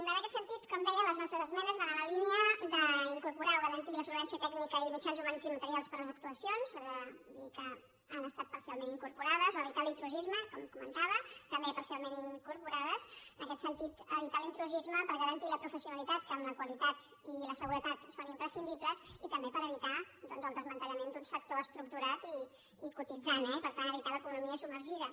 en aquest sentit com deia les nostres esmenes van en la línia d’incorporar o garantir la solvència tècnica i mitjans humans i materials per a les actuacions s’ha de dir que han estat parcialment incorporades o a evitar l’intrusisme com comentava també parcialment incorporades en aquest sentit evitar l’intrusisme per garantir la professionalitat que amb la qualitat i la seguretat són imprescindibles i també per evitar doncs el desmantellament d’un sector estructurat i cotitzant eh i per tant evitar l’economia submergida